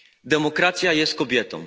Demokracja jest kobietą.